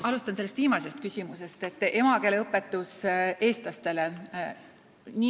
Alustan viimasest küsimusest, emakeeleõpetusest eestlastele.